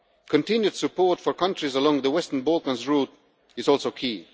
Continued support for countries along the Western Balkans route is also key.